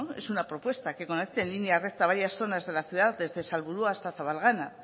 es una propuesta que conecte en línea recta varias zonas de la ciudad desde salburua hasta zabalgana